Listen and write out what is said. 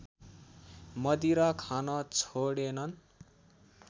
मदिरा खान छोडेनन्